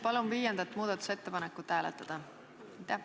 Palun viiendat muudatusettepanekut hääletada!